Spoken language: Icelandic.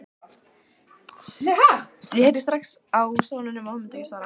Ég heyrði strax á sóninum að hún myndi ekki svara.